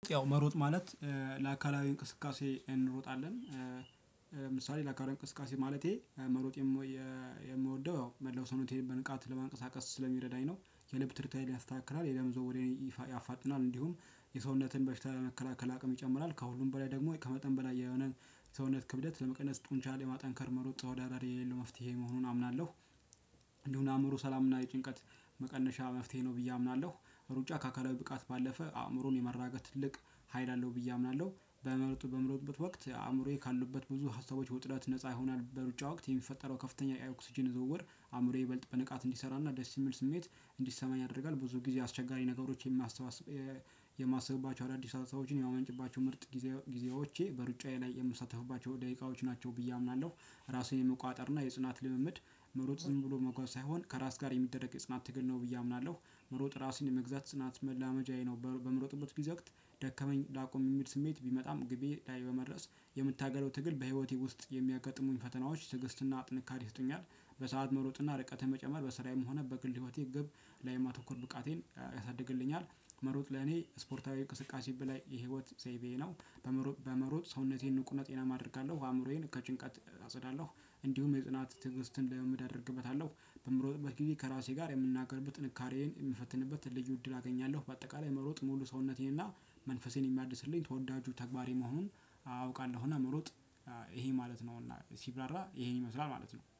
ያው መሮጥ ማለት ለአካላዊ እንቅስቃሴ እንሮጣለን። ለምሳሌ ለአካላዊ እንቅስቃሴ ማለቴ መሮጥ። የምወደው ያው መላው ሰውነቴን በንቃት ለማንቀሳቀስ ስለሚረዳኝ ነው የልብ ትርታዬን ያስተካክላል የደም ዝውውሬን ያፋጥናል እንዲሁም የሰውነትን በሽታ መከላከል አቅም ይጨምራል ከሁሉም በላይ ደግሞ ከመጠን በላይ የሆነ የሰውነት ክብደት ለመቀነስ ጡንቻን ለማጠንከር መሮጥ ተወዳዳሪ የሌለው መፍትሄ መሆኑን አምናለሁ። እንዲሁም አእምሮ ሰላምና የጭንቀት መቀነሻ መፍትሄ ነው ብዬ አምናለሁ። ሩጫ ከአካላዊ ብቃት ባለፈ አእምሮን የማረጋጋት ትልቅ ሀይል አለው ብዬ አምናለሁ። በመምረጡ በምሮጥበት ወቅት አእምሮዬ ካሉበት ብዙ ሀሳቦች ውጥረት ነፃ ይሆናል በሩጫ ወቅት የሚፈጠረው ከፍተኛ የኦክስጅን ዝውውር አእምሮዬ ይበልጥ በንቃት እንዲሰራና ደስ የሚል ስሜት እንዲሰማኝ ያደርጋል። ብዙ ጊዜ አስቸጋሪ ነገሮች የማሰባስብ የማስብባቸው አዳዲስ ሀሳቦችን የማመንጭባቸው ምርጥ ጊዜዎቼ በሩጫዬ ላይ የምሳተፍባቸው ደቂቃዎች ናቸው ብዬ አምናለሁ። ራሴን የመቆጣጠር እና የጽናት ልምምድ መሮጥ ዝም ብሎ መጓዝ ሳይሆን ከራስ ጋር የሚደረግ የጽናት ትግል ነው ብዬ አምናለሁ። መሮጥ ራስን የመግዛት ጽናት መለማመጃዬ ነው በምሮጥበት ጊዜ ወቅት ደከመኝ ላቁም የሚል ስሜት ቢመጣም ግቤ ላይ በመድረስ የምታገለው ትግል በህይወቴ ውስጥ የሚያጋጥሙኝ ፈተናዎች ትግስትና ጥንካሬ ይሰጡኛል። በሰአት መሮጥና ርቀት መጨመር በስራዬም ሆነ በግል ህይወቴ ግብ ላይ የማተኮር ብቃቴን ያሳድግልኛል። መሮጥ ለኔ ስፖርታዊ እንቅስቃሴ በላይ የህይወት ዘይቤዬ ነው። በመሮጥ ሰውነቴን ንቁ እና ጤናማ አደርጋለሁ አእምሮዬን ከጭንቀት አጸዳለሁ። እንዲሁም የጽናት ትዕግስትን ልምምድ አደርግበታለሁ። በምሮጥበት ጊዜ ከራሴ ጋር የምነጋገርበት ጥንካሬዬን የምፈትንበት ልዩ እድል አገኛለሁ። በአጠቃላይ መሮጥ ሙሉ ሰውነቴን እና መንፈሴን የሚያድስልኝ ተወዳጁ ተግባሬ መሆኑን አውቃለሁና መሮጥ ይሄ ማለት ነውና ሲብራራ ይሄን ይመስላል ማለት ነው